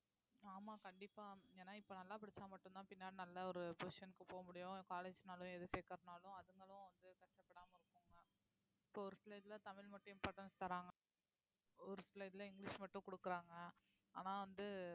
ஆமா கண்டிப்பா ஏன்னா இப்ப நல்லா படிச்சா மட்டும்தான் பின்னாடி நல்ல ஒரு position க்கு போக முடியும் college னாலும் எது சேர்க்கிறதுனாலும் அதுங்களும் வந்து கஷ்டப்படாம இருக்குங்க இப்ப ஒரு சில இதுல தமிழ் மட்டும் importance தர்றாங்க ஒரு சில இதுல இங்கிலிஷ் மட்டும் குடுக்கறாங்க ஆனா வந்து